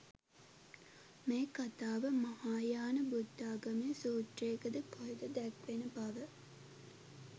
මේ කතාව මහායාන බුද්ධාගමේ සූත්‍රයක ද කොහෙද දැක්වෙන බව.